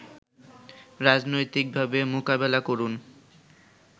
রাজনৈতিকভাবে মোকাবেলা করুন